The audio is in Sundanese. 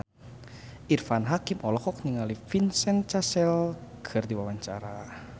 Irfan Hakim olohok ningali Vincent Cassel keur diwawancara